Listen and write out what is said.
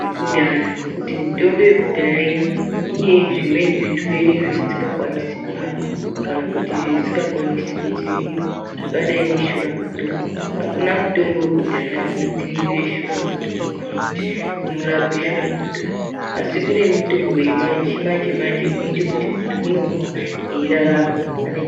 yekudhaya ngokuti mitombo yekudhaya iya, ine zvimweni zvirwere zveisingakwanisi kurapa kana kuti zveingakwanisi kudzivirira zvakadai neshuramatongo. Hakuna mutombo wekudhaya unodziirire shuramatongo kana kuti unorape shuramatongo. Asi kune mishonga yechimanje-manje inoite kuti muntu unomwa echirarama ane chiirwere